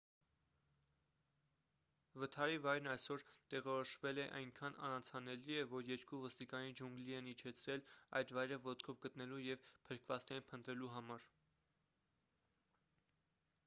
վթարի վայրն այսօր է տեղորոշվել և այնքան անանցանելի է որ երկու ոստիկանի ջունգլի են իջեցրել այդ վայրը ոտքով գտնելու և փրկվածներին փնտրելու համար